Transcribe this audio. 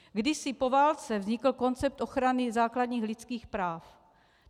Kdysi po válce vznikl koncept ochrany základních lidských práv.